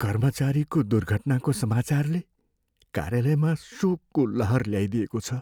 कर्मचारीको दुर्घटनाको समाचारले कार्यालयमा शोकको लहर ल्याइदिएको छ।